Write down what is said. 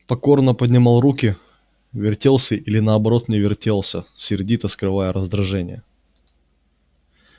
покорно поднимал руки вертелся или наоборот не вертелся сердито скрывая раздражение